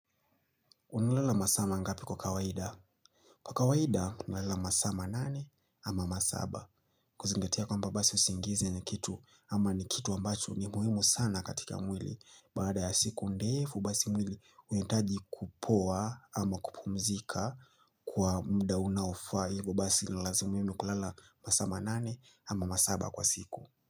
Unalala masaa mangapi kwa kawaida? Kwa kawaida, unalala masaa manane ama masaba. Kuzingatia kwamba basi usingizi ni kitu ama ni kitu ambacho ni muhimu sana katika mwili. Baada ya siku ndefu, basi mwili uitaji kupowa ama kupumzika kwa mda unaofaa hivyo basi nilalazi muhimu kulala masaa manane ama masaba kwa siku.